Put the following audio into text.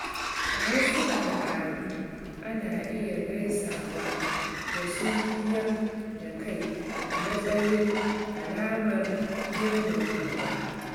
A wasu al'adu, ana iya gaisawa da sunkuyar da kai a matsayin alamar girmamawa.